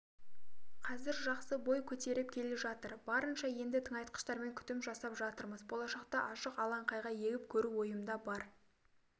қазір жақсы бой көтеріп келе жатыр барынша енді тыңайтқыштармен күтім жасап жатырмыз болашақта ашық алаңқайға егіп көру ойымда бар